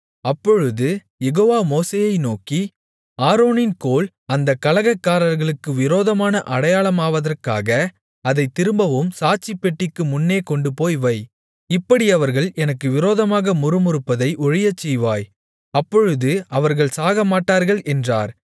அப்பொழுது யெகோவா மோசேயை நோக்கி ஆரோனின் கோல் அந்தக் கலகக்காரர்களுக்கு விரோதமான அடையாளமாவதற்காக அதைத் திரும்பவும் சாட்சிப்பெட்டிக்கு முன்னே கொண்டு போய் வை இப்படி அவர்கள் எனக்கு விரோதமாக முறுமுறுப்பதை ஒழியச்செய்வாய் அப்பொழுது அவர்கள் சாகமாட்டார்கள் என்றார்